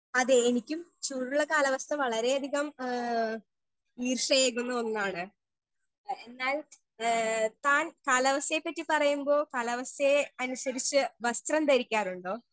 Speaker 1 അതെ എനിക്ക് ചൂടുള്ള കാലാവസ്ഥ വളരെ അധികം ഏ ഈർഷേകുന്നൊന്നാണ് എന്നാൽ ഏ താൻ കാലാവസ്ഥയെ പറ്റി പറയുമ്പോൾ കാലാവസ്ഥയെ അനുസരിച്ച് വസ്ത്രം ധരിക്കാറുണ്ടോ.